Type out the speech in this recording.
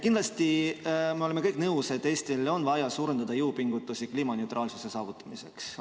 Kindlasti me oleme kõik nõus, et Eestil on vaja suurendada jõupingutusi kliimaneutraalsuse saavutamiseks.